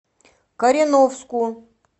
кореновску